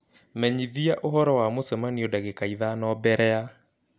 menyithia ũhoro wa mũcemanio dagĩka ithano mbere ya .